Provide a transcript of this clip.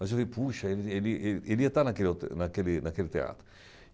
Mas eu vi, puxa, ele ele ele ele ia estar hotel naquele naquele teatro.